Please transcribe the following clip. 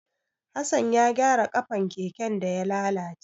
Hassan ya gyara ƙafan keken da ya lalace.